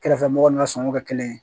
Kɛrɛfɛmɔgɔw n'u sɔnna o kɛ kelen ye